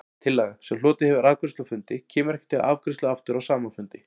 Tillaga, sem hlotið hefur afgreiðslu á fundi, kemur ekki til afgreiðslu aftur á sama fundi.